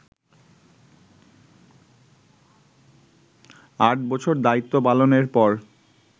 আট বছর দায়িত্বপালনের পর